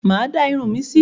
Mà á dá irun mi si.